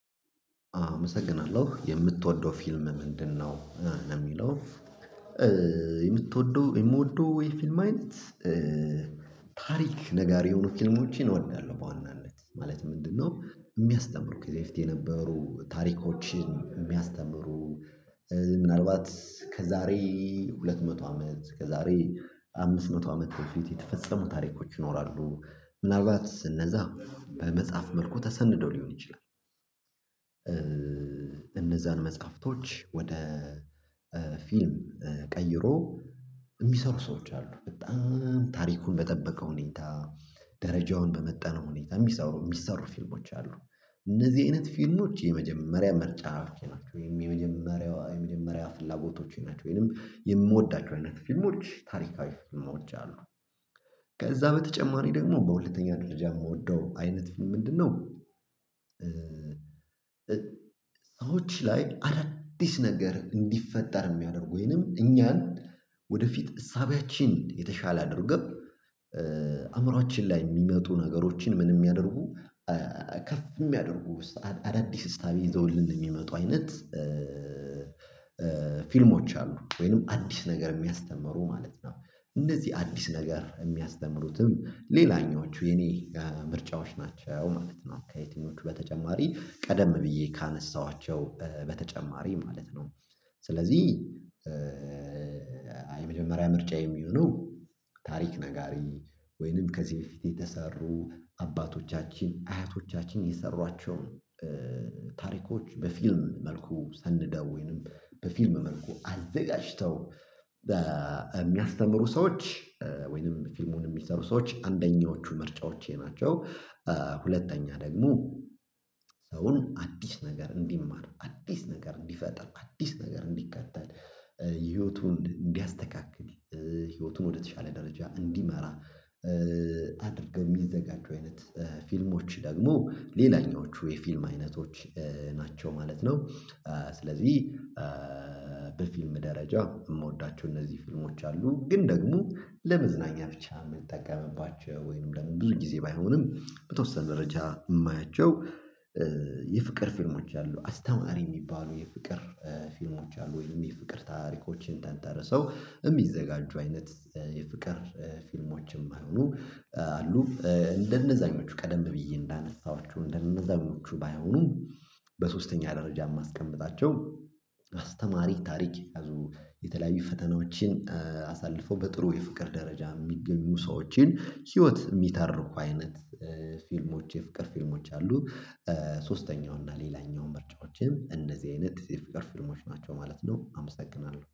አመሰግናለሁ የምትወደው ፊልም ምንድነው? ለሚለው የምትወደው የምወደው የ ፊልም አይነት ታሪክ ነጋሪ የሆኑ ፊልሞችን እወዳለሁ። በዋናነት ማለት ምንድነው የሚያስተምሩ ከዚህ በፊት የነበሩ ታሪኮችን የሚያስተምሩ ምናልባት ከዛሬ ሁለት መቶ አመት ከዛሬ አምስት መቶ አመት ፊት የተፈጸሙ ታሪኮች ይኖራሉ ምናልባት እነዛ በመጽሐፍ መልኩ ተሰንደው ሊሆን ይችላል። እነዛን መጻህፍቶች ወደ ፊልም ቀይሮ የሚሰሩ ሰዎች አሉ በጣም ታሪኩን በጠበቀ ሁኔታ ደረጃውን በመጠነ ሁኔታ የሚሰሩ የሚሰሩ ፊልሞች አሉ። እንደዚህ አይነት ፊልሞች የመጀመሪያ ምርጫ ናቸው የመጀመሪያዋ የመጀመሪያ ፍላጎቶቼ ናቸው ወይንም የምወዳቸው አይነት ፊልሞች ታሪካዊ ፊልሞች አሉ። ከዛ በተጨማሪ ደግሞ በሁለተኛ ደረጃ የምወደው አይነት ምንድነው? ሰዎች ላይ አዳዲስ ነገር እንዲፈጠር የሚያደርጉኝንም እኛን ወደፊት እሳቤያችን የተሻለ አድርገን አእምሮአችን ላይ የሚመጡ ነገሮችን ምን የሚያደርጉ ከፍ የሚያደርጉ አዳዲስ እሳቤ ይዘውልን የሚመጡ አይነት ፊልሞች አሉ ወይንም አዲስ ነገር የሚያስተምሩ ማለት ነው። እንደዚህ አዲስ ነገር የሚያስተምሩትም ሌላኛዎቹ የኔ ምርጫዎች ናቸው ማለት ነው። ከየትኞቹ በተጨማሪ ቀደም ብዬ ካነሳኋቸው በተጨማሪ ማለት ነው። ስለዚህ የመጀመሪያ ምርጫዬ የሚሆነው ታሪክ ነጋሪ ወይንም ከዚህ በፊት የተሰሩ አባቶቻችን አያቶቻችን የሰሯቸውን ታሪኮች በፊልም መልኩ ሰንደው ወይንም በፊልም መልኩ አዘጋጅተው በሚያስተምሩ ሰዎች ወይንም ፊልሙን የሚሰሩ ሰዎች አንደኛዎቹ ምርጫዎቼ ናቸው። ሁለተኛ ደግሞ ሰውን አዲስ ነገር እንዲማር አዲስ ነገር እንዲፈጠር አዲስ ነገር እንዲከተል ህይወቱን እንዲያስተካክል ህይወቱን ወደተሻለ ደረጃ እንዲመራ አድርገህ የሚዘጋጁ አይነት ፊልሞች ደግሞ ሌላኛዎቹ የፊልም አይነቶች ናቸው ማለት ነው። ስለዚህ በፊልም ደረጃ የምወዳቸው እነዚህ ፊልሞች አሉ ግን ደግሞ ለመዝናኛ ብቻ የምጠቀምባቸው ወይንም ለምን ብዙ ጊዜ ባይሆንም በተወሰነ ደረጃ የማያቸው። የፍቅር ፊልሞች አሉ አስተማሪ የሚባሉ የፍቅር ፊልሞች አሉ ወይም የፍቅር ታሪኮችን ተንተርሰው የሚዘጋጁ አይነት የፍቅር ፊልሞችም ማይሆኑም አሉ እንደነዛኞቹ ቀደም ብዬ እንዳነሳኋቸው እንደነዛኞቹ ባይሆኑም። በሶስተኛ ደረጃ የማስቀምጣቸው አስተማሪ ታሪክ የተለያዩ ፈተናዎችን አሳልፎ በጥሩ የፍቅር ደረጃ የሚገኙ ሰዎችን ህይወት የሚተርኩ አይነት ፊልሞች የፍቅር ፊልሞች አሉ። ሶስተኛው እና ሌላኛው ምርጫዎቼም እንደዚህ አይነት የፍቅር ፊልሞች ናቸው ማለት ነው። አመሰግናለሁ